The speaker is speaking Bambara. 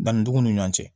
Danni cogo ni ɲɔn cɛ